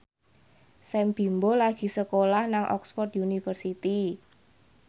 Sam Bimbo lagi sekolah nang Oxford university